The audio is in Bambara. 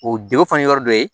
O denw fana ye yɔrɔ dɔ ye